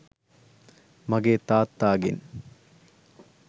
මගේ තාත්තාගෙන්.